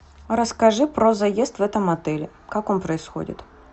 расскажи про заезд в этом отеле как он происходит